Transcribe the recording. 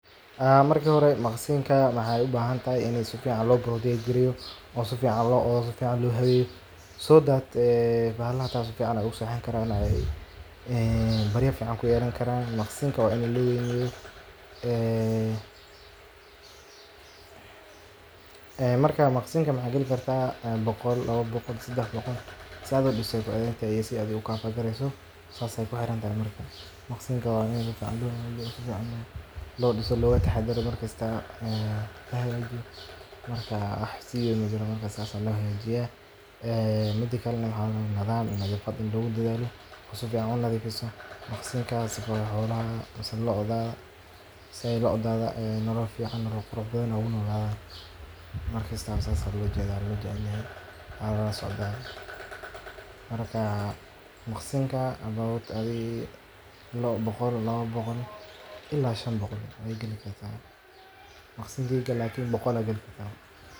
immisa lo' ayaa ku geli karto maqsinkaaga